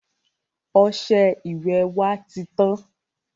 Ọsẹ ìwẹ̀ wá titán.